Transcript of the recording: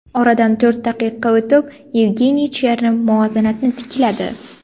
Oradan to‘rt daqiqa o‘tib, Yevgeniy Chernov muvozanatni tikladi.